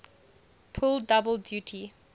pull double duty